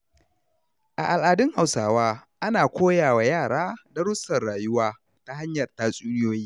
A al’adun Hausawa, ana koyawa yara darussan rayuwa ta hanyar tatsuniyoyi.